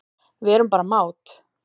Við erum bara mát